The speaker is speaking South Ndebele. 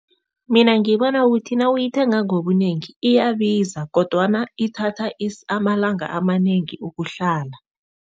Mina ngibona kuthi nawuyithenga ngobunengi iyabiza kodwana ithatha amalanga amanengi ukuhlala.